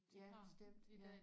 Ja bestemt ja